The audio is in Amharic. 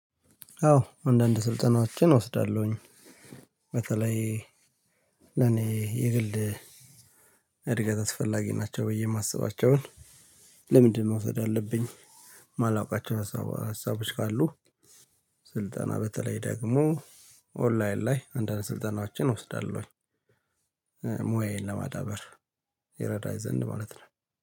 አዎ አንዳንድ ስልጠናዎችን እወስዳለሁኝ። በተለይ ለኔ የግል እድገት አስፈላጊ ናቸው ብዬ የማስባቸውን ለምንድነው መውሰድ አለብኝ የማላውቃቸው ሀሳቦች ካሉ ስልጠና በተለይ ደግሞ ኦንላይን ላይ አንዳንድ ስልጠናችን ስልጠናዎችን እወስዳለሁኝ። ሙያዬን ለማዳበር ይረዳኝ ዘንድ ማለት ነው።